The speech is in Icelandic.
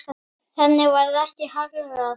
Henni varð ekki haggað.